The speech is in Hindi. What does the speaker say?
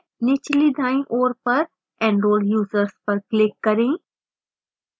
निचली दायीं ओर पर enrol users पर click करें